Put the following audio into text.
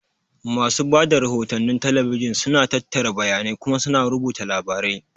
Masu ba da rahotannin talabijin suna tattara bayanai kuma suna rubuta labarai.